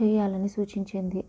చేయాలని సూచించింది